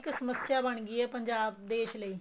ਇਹ ਇੱਕ ਸਮੱਸਿਆ ਬਣ ਗਈ ਏ ਪੰਜਾਬ ਦੇਸ਼ ਲਈ